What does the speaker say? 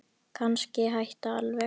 Kannski hætta alveg.